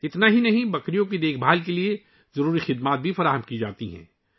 یہی نہیں بکریوں کی دیکھ بھال کے لیے ضروری خدمات بھی فراہم کی جاتی ہیں